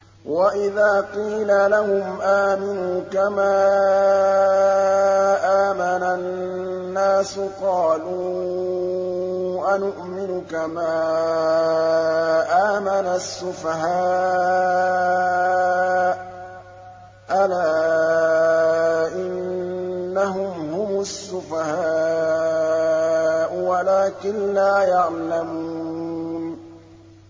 وَإِذَا قِيلَ لَهُمْ آمِنُوا كَمَا آمَنَ النَّاسُ قَالُوا أَنُؤْمِنُ كَمَا آمَنَ السُّفَهَاءُ ۗ أَلَا إِنَّهُمْ هُمُ السُّفَهَاءُ وَلَٰكِن لَّا يَعْلَمُونَ